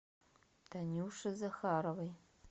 танюши захаровой